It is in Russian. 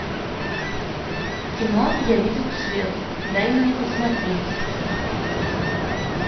кино я видел свет дай мне посмотреть